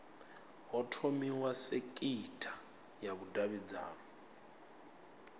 ho thomiwa sekitha ya vhudavhidzano